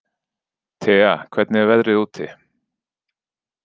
Tea, hvernig er veðrið úti?